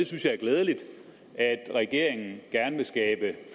synes det er glædeligt at regeringen gerne vil skabe